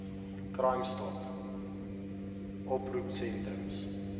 crime stop oproepsentrums